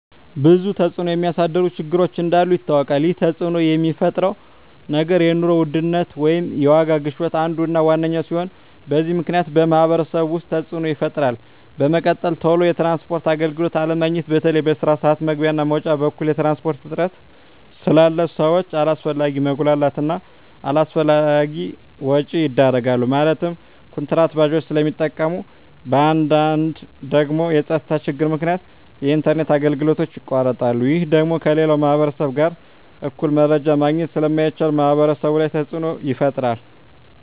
ብዙ ተፅዕኖ የሚያሳድሩ ችግሮች እንዳሉ ይታወቃል ይህ ተፅዕኖ የሚፈጥረው ነገር የኑሮ ውድነት ወይም የዋጋ ግሽበት አንዱ እና ዋነኛው ሲሆን በዚህ ምክንያት በማህበረሰቡ ውስጥ ተፅዕኖ ይፈጥራል በመቀጠል ቶሎ የትራንስፖርት አገልግሎት አለማግኘት በተለይ በስራ ስዓት መግቢያ እና መውጫ በኩል የትራንስፖርት እጥረት ስላለ ሰዎች አላስፈላጊ መጉላላት እና አላስፈላጊ ወጪዎች ይዳረጋሉ ማለትም ኩንትራት ባጃጆችን ስለሚጠቀሙ በአንዳንድ ደግሞ በፀጥታ ችግር ምክንያት የኢንተርኔት አገልግሎቶች ይቋረጣሉ ይህ ደግሞ ከሌላው ማህበረሰብ ጋር እኩል መረጃ ማግኘት ስለማይቻል ማህበረሰቡ ላይ ተፅዕኖ ይፈጥራል